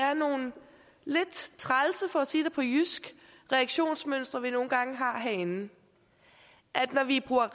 er nogle lidt trælse for at sige det på jysk reaktionsmønstre vi nogle gange har herinde når vi bruger